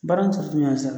Baara in